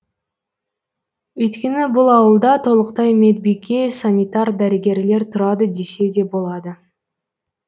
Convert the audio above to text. өйткені бұл ауылда толықтай медбике санитар дәрігерлер тұрады десе де болады